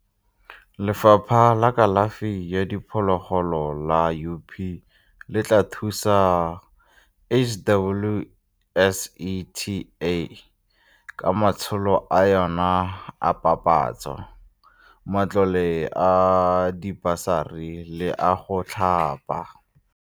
Lefapha la Kalafi ya Diphologolo la UP le tla thusa HWSETA ka matsholo a yona a papatso, matlole a dibasari le a go thapa.